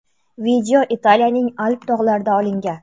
Video Italiyaning Alp tog‘larida olingan.